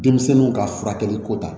Denmisɛnninw ka furakɛli ko ta